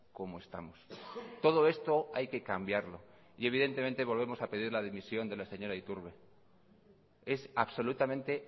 como estamos todo esto hay que cambiarlo y evidentemente volvemos a pedir la dimisión de la señora iturbe es absolutamente